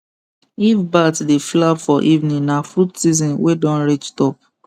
if bat dey flap for evening na fruit season wey don reach top